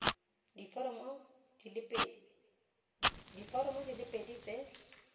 diforomo di le pedi tse